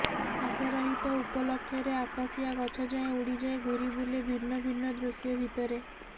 ହସରହିତ ଉପଲକ୍ଷରେ ଆକାଶିଆ ଗଛଯାଏ ଉଡ଼ିଯାଏ ଘୂରିବୁଲେ ଭିନ୍ନଭିନ୍ନ ଦୃଶ୍ୟ ଭିତରେ